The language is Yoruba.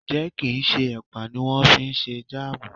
Ǹjẹ́ kì ń ṣe ẹ̀pà ni wón fi ṣe Jáàmù?